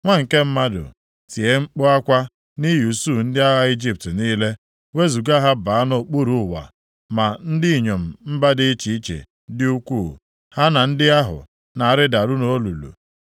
“Nwa nke mmadụ, tie mkpu akwa nʼihi usuu ndị agha Ijipt niile, wezuga ha baa nʼokpuru ụwa ma ndị inyom mba dị iche iche dị ukwuu, ha na ndị ahụ na-arịdaru nʼolulu.